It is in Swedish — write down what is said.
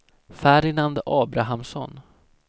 Ferdinand Abrahamsson